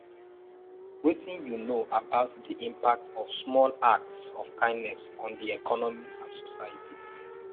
wetin you know about di impact of small acts of kindness on di economy and society